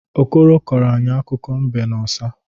Okoro kọrọ anyị akụkọ mbe na ọsa.